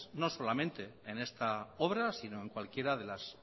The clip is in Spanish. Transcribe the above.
no solamente en esta obra sino en cualquiera de las